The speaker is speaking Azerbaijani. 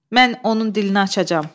Mən onun dilini açacam.